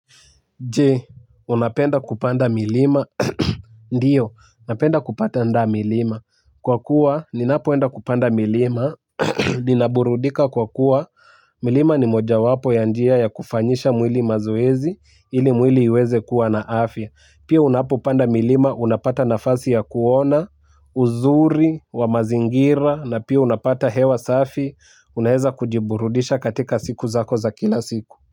Je, unapenda kupanda milima? Ndio, napenda kupanda milima. Kwa kuwa, ninapoenda kupanda milima ninaburudika kwa kuwa milima ni mojawapo ya njia ya kufanyisha mwili mazoezi. Ili mwili uweze kuwa na afya. Pia unapopanda milima, unapata nafasi ya kuona uzuri wa mazingira na pia unapata hewa safi. Unaweza kujiburudisha katika siku zako za kila siku.